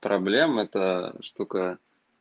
проблемы это штука